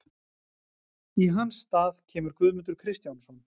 Í hans stað kemur Guðmundur Kristjánsson.